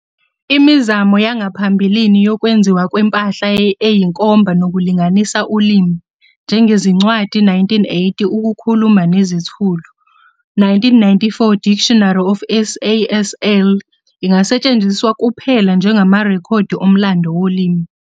Imizamo yangaphambilini yokwenziwa kwempahla eyinkomba nokulinganisa ulimi, njengezincwadi, 1980 "Ukukhuluma Nezithulu", 1994 "Dictionary of SASL", ingasetshenziswa kuphela njengamarekhodi omlando wolimi.